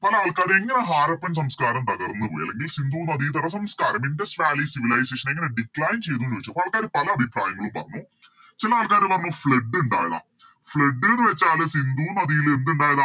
പല ആൾക്കാര് എങ്ങനെ ഹാരപ്പൻ സംസ്ക്കാരം തകർന്നു പോയി അല്ലെങ്കിൽ സിന്ധു നദിതട സംസ്ക്കാരം Indus valley civilization എങ്ങനെ Decline ചെയ്തുന്ന് വെച്ച ആൾക്കാര് പല അഭിപ്രായങ്ങളും വന്നു ചില ആൾക്കാര് പറഞ്ഞു Flood ഇണ്ടായതാ Flood ന്ന് വെച്ചാല് സിന്ധു നദില് എന്ത്ണ്ടായതാ